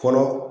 Kɔnɔ